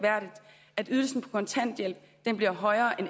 kontanthjælp